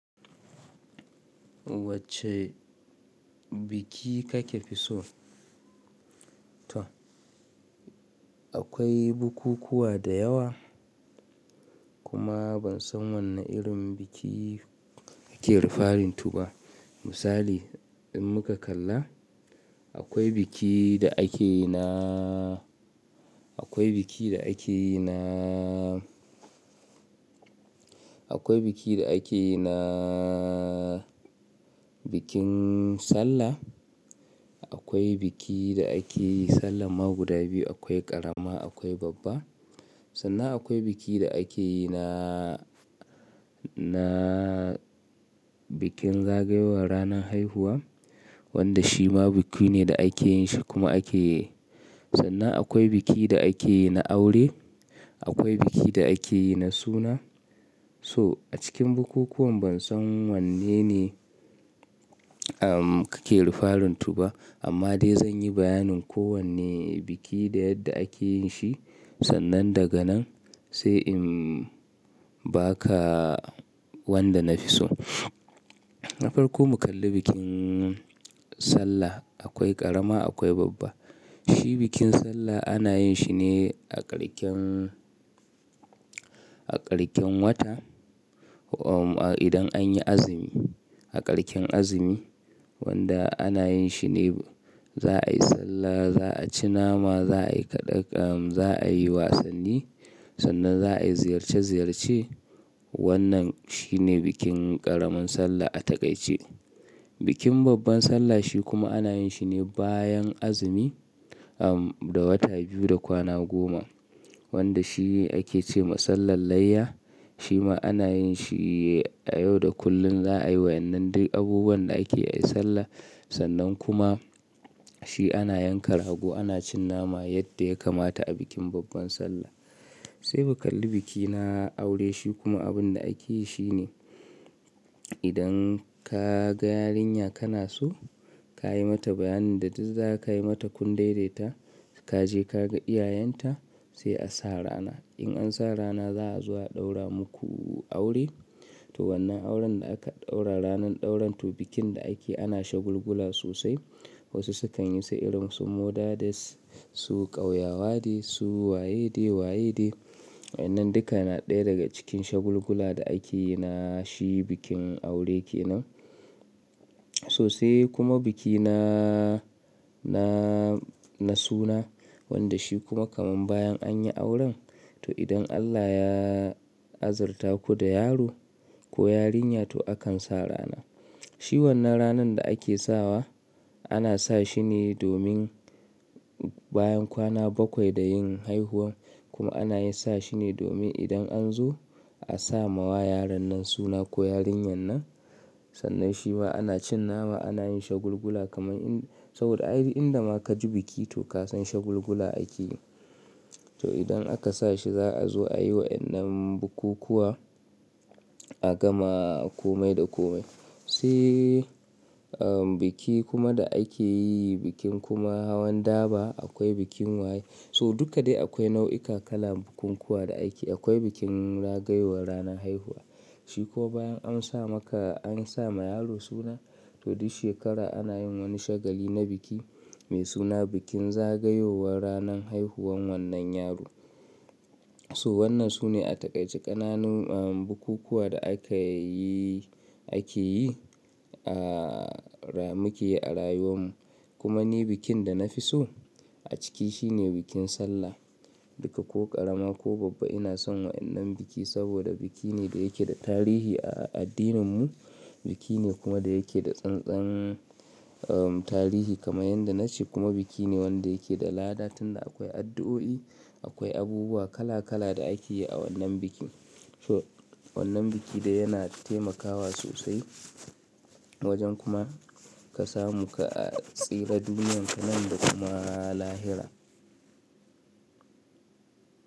Wacce biki kake fi so? To akwai bukukuwa da yawa. Kuma ban san wanne irin biki kake rufaɗin tu ba. Misali in muka kalla akwai biki da ake na, akwai biki da ake na, akwai biki da ake na bikin Sallah. Akwai biki da ake yi Sallah ma guda biyu akwai ƙarama akwai babba. Sannan akwai biki da ake yi na, na bikin zagayowar ranan haihuwa wanda shi ma biki ne da ake yin shi kuma ake. Sannan akwai biki da ake yi na aure. Akwai biki da ake yi na suna. So a cikin bukukuwan ban san wanne ne kake rufarin tu ba. Amma dai zan yi bayanin kowane biki da yadda ake yin shi. Sannan daga nan sai in ba ka wanda na fi so. Na farko mu kalli bikin Sallah. Akwai ƙarama akwai babba. Shi bikin Sallah ana yin shi ne a ƙarshen, a ƙarshen wata idan an yi azumi. A ƙarshen azumi wanda ana yin shi ne za a yi Sallah, za a ci nama, za a yi kaɗaƙa, za a yi wasanni. Sannan za a ziyarce ziyarce. Wannan shi ne bikin ƙaramin Sallah a takaice. Bikin babban Sallah shi kuma ana yin shi ne bayan azumi da wata biyu da kwana goma wanda shi ake ce ma Sallan layya. Shi ma ana yin shi a yau da kullum za a yi wa wannan duk abubuwan da ake ai Sallah. Sannan kuma shi ana yanka rago ana cin nama yadda ya kamata a bikin babban Sallah. Sai mu kalli biki na aure shi kuma abun da ake yi shi ne idan ka ga yarinya kana so, ka yi mata bayanin da duk za ka yi mata kun daidaita. Ka je ka ga iyayenta sai a sa rana. In an sa rana za a zo a ɗaura muku aure. To wannan auren da aka ɗaura ranan ɗauran tu bikin da ake ana shagulgula sosai. Wasu sukan yi sai irin sun muɗa da su ƙauyawa ne, su waye ne, waye ne. Wannan duka na ɗaya daga cikin shagulgula da ake yi na shi bikin aure kenan. Sosai kuma biki na, na, na suna wanda shi kuma kamun bayan an yi auren. To idan Allah ya azurta ku da yaro ko yarinya to akan sa rana. Shi wannan ranan da ake sawa ana sa shi ne domin bayan kwana bakwai da yin haihuwa kuma ana yin sa shi ne domin idan an zo a sa mawa yaron nan suna ko yarinyan nan. Sannan shi ma ana cin nama ana yin shagulgula kamar in, saboda a irin inda ma ka ji biki to ka san shagulgula ake yi. To idan aka sa shi za a zo a yi wa wannan bukukuwa a gama komai da komai. Sai biki kuma da ake yi bikin kuma hawan daba akwai bikin waye. So duka dai akwai nau'ika kala'n bukukuwa da ake. Akwai bikin zagayowar ranan haihuwa. Shi kuwa bayan an sa maka an sa ma yaro suna to duk shekara ana yin wani shagali na biki mai suna bikin zagayowar ranan haihuwan wannan yaro. So wannan sune a takaice ƙananun bukukuwa da aka yi, ake yi, muke yi a rayuwan mu. Kuma ni bikin da na fi so a ciki shi ne bikin Sallah. Duka ko ƙarama ko babba ina son wannan biki saboda biki ne da yake da tarihi a addinin mu. Biki ne kuma da yake da tsantsan tarihi kamar yadda na ce kuma biki ne wanda yake da lada tun da akwai addu'o'i. Akwai abubuwa kala kala da ake yi a wannan biki. So wannan biki dai yana taimakawa sosai wajen kuma ka samu ka tsira duniyarka nan da kuma lahira.